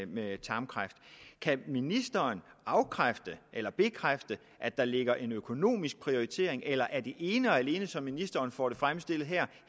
med tarmkræft kan ministeren afkræfte eller bekræfte at der ligger en økonomisk prioritering eller er det ene og alene som ministeren får det fremstillet her